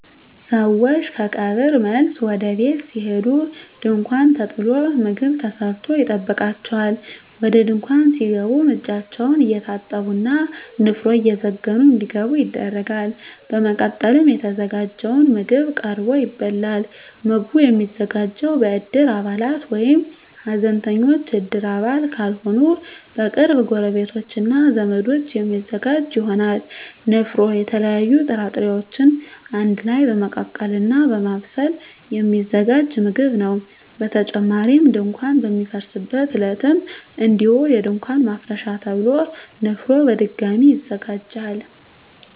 ሰወች ከቀብር መልስ ወደ ቤት ሲሄዱ ድንኳን ተጥሎ ምግብ ተሰርቶ ይጠብቃቸዋል። ወደ ድንኳን ሲገቡም እጃቸውን እየታጠቡ እና ንፍሮ እየዘገኑ እንዲገቡ ይደረጋል። በመቀጠልም የተዘጋጀው ምግብ ቀርቦ ይበላል። ምግቡ የሚዘጋጀው በእድር አባላት ወይም ሀዘንተኞች እድር አባል ካልሆኑ በቅርብ ጎረቤቶች እና ዘመዶች የሚዘጋጅ ይሆናል። ንፍሮ የተለያዩ ጥራጥሬወችን አንድ ላይ በመቀቀል እና በማብሰል የሚዘጋጅ ምግብ ነው። በተጨማሪም ድንኳን በሚፈርስበት ዕለትም እንዲሁ የድንኳን ማፍረሻ ተብሎ ንፍሮ በድጋሚ ይዘጋጃል።